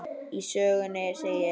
Í sögunni segir: